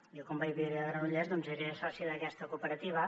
jo quan vaig viure a granollers doncs era soci d’aquesta cooperativa